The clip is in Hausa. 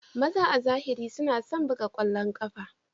Maza a zahiri suna son buga ƙwallon ƙafa.